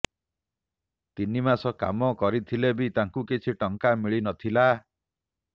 ତିନି ମାସ କାମ କରିଥିଲେ ବି ତାଙ୍କୁ କିଛି ଟଙ୍କା ମିଳି ନଥିଲା